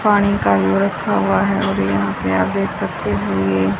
पानी का यो रखा हुआ है और यहां पे आप देख सकते हो ये--